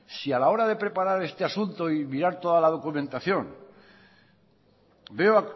si a la hora de preparar este asunto y mirar toda la documentación veo